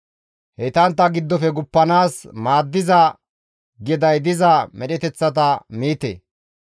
Heytantta giddofe guppanaas maaddiza geday diza medheteththata miite;